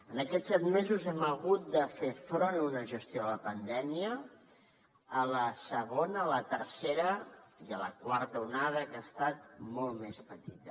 en aquests set mesos hem hagut de fer front a una gestió de la pandèmia a la segona a la tercera i a la quarta onada que ha estat molt més petita